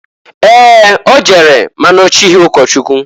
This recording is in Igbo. Ee! O jere ma na ochighi ụkọchụkwụ.